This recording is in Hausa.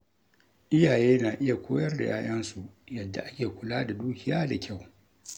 Iyaye na iya koyar da ‘ya’yansu yadda ake kula da dukiya da kyau.